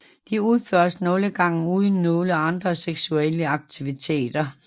Det udføres nogle gange uden nogle andre seksuelle aktiviteter